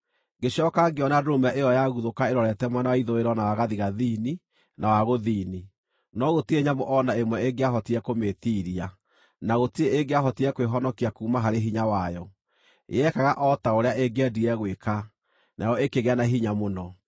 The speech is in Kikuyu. Ngĩcooka ngĩona ndũrũme ĩyo yaguthũka ĩrorete mwena wa ithũĩro na wa gathigathini na wa gũthini, no gũtirĩ nyamũ o na ĩmwe ĩngĩahotire kũmĩĩtiiria, na gũtirĩ ĩngĩahotire kwĩhonokia kuuma harĩ hinya wayo. Yekaga o ta ũrĩa ĩngĩendire gwĩka, nayo ĩkĩgĩa na hinya mũno.